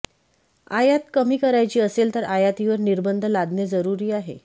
आयात कमी करायची असेल तर आयातीवर निर्बंध लादणे जरुरी आहे